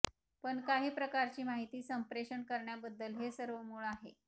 पण काही प्रकारची माहिती संप्रेषण करण्याबद्दल हे सर्व मूळ आहे